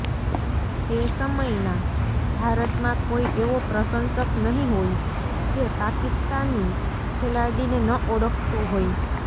તે સમયના ભારતમાં કોઈ એવો પ્રશંસક નહીં હોય જે પાકિસ્તાની ખેલાડીને ન ઓળખતો હોય